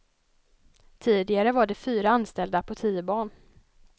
Tidigare var det fyra anställda på tio barn.